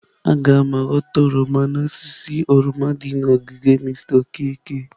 Aga m ghọta oroma n'osisi oroma dị n'ogige Mr Okeke.